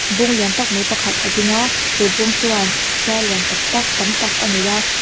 bung lian tak mai pakhat a ding a chu bung chuan zar lian tak tak tam tak a nei a.